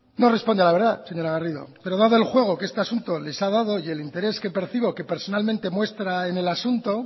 no responde a la verdad señora garrido pero dado el juego que este asunto les ha dado y el interés que percibo que personalmente muestra en el asunto